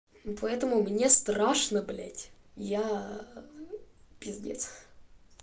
ну поэтому мне страшно блядь я пиздец